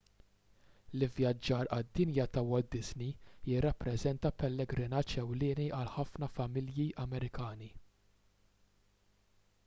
l-ivvjaġġar għad-dinja ta' walt disney jirrappreżenta pellegrinaġġ ewlieni għal ħafna familji amerikani